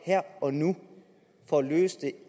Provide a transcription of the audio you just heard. her og nu for at løse det